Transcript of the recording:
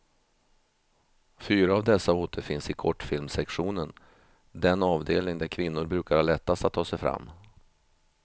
Fyra av dessa återfinns i kortfilmssektionen, den avdelning där kvinnor brukar ha lättast att ta sig fram.